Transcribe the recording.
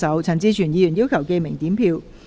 陳志全議員要求點名表決。